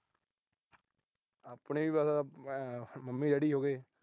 ਆਪਣੇ ਵੀ ਬੱਸ, ਮੰਮੀ ਡੈਡੀ ਹੋ ਗਏ।